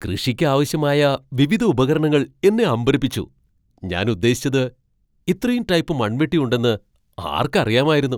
കൃഷിയ്ക്ക് ആവശ്യമായ വിവിധ ഉപകരണങ്ങൾ എന്നെ അമ്പരപ്പിച്ചു. ഞാൻ ഉദ്ദേശിച്ചത്, ഇത്രയും ടൈപ്പ് മൺവെട്ടി ഉണ്ടെന്ന് ആർക്കറിയാമായിരുന്നു?